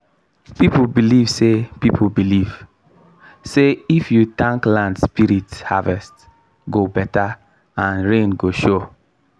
people believe say people believe say if you tank land spirit harvest go better and rain go show.